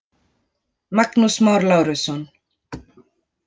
Magnús Már Lárusson.